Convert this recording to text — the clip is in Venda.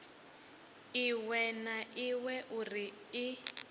iṅwe na iṅwe uri i